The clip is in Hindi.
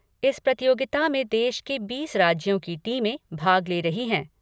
इस प्रतियोगिता में देश के बीस राज्यों की टीमें भाग ले रही हैं।